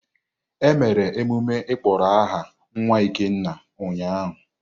E mere emume ịkpọrọ aha nwa Ikenna ụnyahụ.